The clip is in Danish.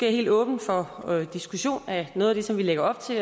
er helt åben for diskussion af noget af det som vi lægger op til